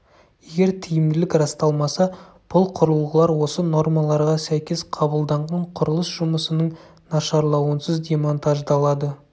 егер тиімділік расталмаса бұл құрылғылар осы нормаларға сәйкес қабылданған құрылыс жұмысының нашарлауынсыз демонтаждалады